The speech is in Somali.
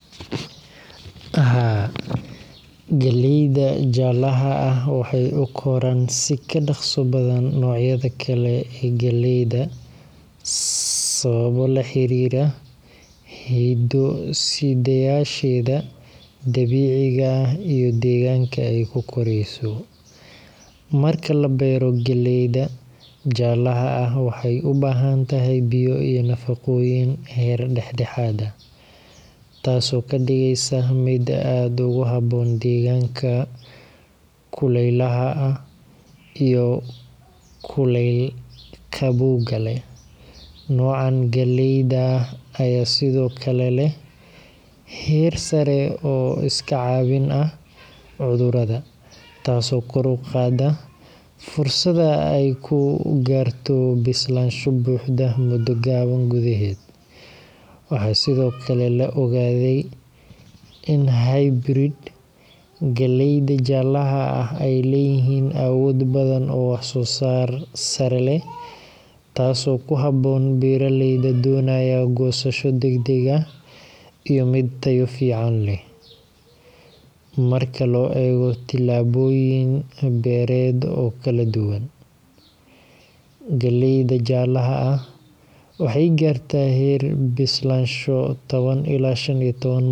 Haa. galleyda jalaha ah waxay ukoraan si kadhaqsa badan nocyada kale ee galleyda. sababo laxariira hido sidayasheeda dabiiciga ah iyo deegganka ay kukoreyso, marka la beero galleyda jalaha ah waxay ubahantahay biyo iyo nafaqooyin heer dhexdhexad ah, taaso kadhigeysa mid aad ogu haboon deegganka kuleylaha ah iyo kuleyl qabowga leh, nocan galleyda aya sidokale leh heer saare oo iska caabin ah cudurada, taaso kor uqaada fursado ay ku garto bislansho buxdo mudo gaban gudeheed, waxa sidokale la ogadey in hybrid galleyda jalaha ah ay leyihin awood badan oo wax soo sar sare leh, taaso ku haboon beeraleyda donayan gosasho degdeg ah iyo mid tayo fican leh marka loo eego tilabooyin beered oo kala duban, galleyda jalaha ah waxay garta heer bislansho toban ila shan iyo toban